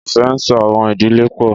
Ìfẹ́ ńso àwọn ìdílé pọ̀.